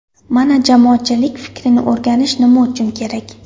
Mana jamoatchilik fikrini o‘rganish nima uchun kerak.